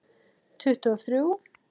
Tuttugu og þrjú!